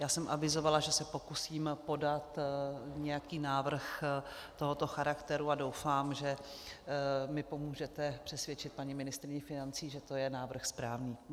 Já jsem avizovala, že se pokusím podat nějaký návrh tohoto charakteru, a doufám, že mi pomůžete přesvědčit paní ministryni financí, že to je návrh správný.